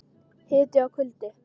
Hiti og kuldi.